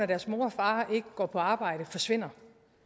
deres mor og far ikke går på arbejde forsvinder